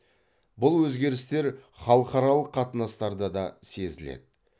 бұл өзгерістер халықаралық қатынастарда да сезіледі